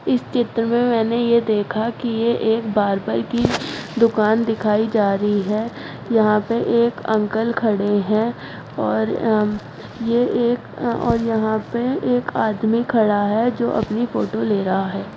इस चित्र में मैंने यह देखा कि यह एक बार्बर की दुकान दिखाई जा रही है यहां पे एक अंकल खड़े हैं और यह एक और यहां पे एक आदमी खड़ा है जो अपनी फोटो ले रहा है।